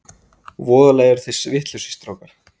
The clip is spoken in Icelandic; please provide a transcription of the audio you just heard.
Voðalega eruð þið vitlausir strákar!